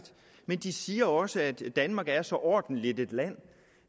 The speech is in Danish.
men de siger også at danmark er så ordentligt et land